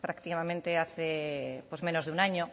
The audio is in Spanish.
prácticamente hace menos de un año